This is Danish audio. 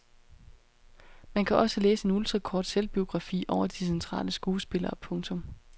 Man kan også læse en ultrakort selvbiografi over de centrale skuespillere. punktum